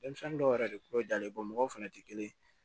Denmisɛnnin dɔw yɛrɛ de kolo jalen mɔgɔw fɛnɛ tɛ kelen ye